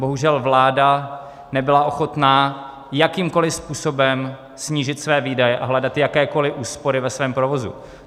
Bohužel vláda nebyla ochotná jakýmkoli způsobem snížit své výdaje a hledat jakékoli úspory ve svém provozu.